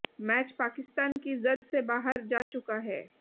match Pakistan की जद से बाहर जा चुका है